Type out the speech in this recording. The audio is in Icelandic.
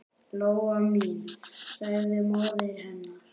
Lóa mín, sagði móðir hennar.